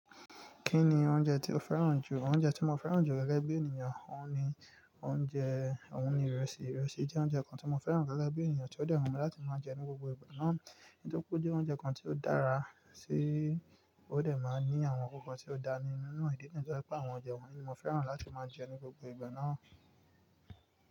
Kí ni oúnjẹ tí o fẹ́ràn jù? Oúnjẹ tí mo fẹ́ràn jù gẹ́gẹ́ bí ènìyàn, òun ni oúnjẹ, òun ni ìrẹsì. Ìrẹsì jẹ́ oúnjẹ kan tí mo fẹ́ràn gẹ́gẹ́ bí ènìyàn tí ó dẹ́ wu mi láti máa jẹ ní gbogbo ìgbà náà. Nítorí pé ó jẹ́ oúnjẹ kan tí ó dára sí, ó dẹ̀ máa ń ní àwọn kankan tí ó da ni nínú e ìdí niyi to jẹ́ pé àwọn ò jẹ wọ́n. Kí ni mo fẹ́ràn láti máa jẹ ní gbogbo ìgbà náà.